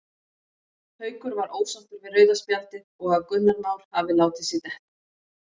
Haukur var ósáttur við rauða spjaldið og að Gunnar Már hafi látið sig detta.